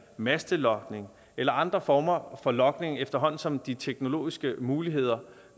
mastelogning eller andre former for logning efterhånden som de teknologiske muligheder